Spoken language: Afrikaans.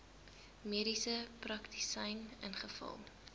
mediese praktisyn ingevul